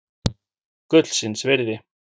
Gullsins virði.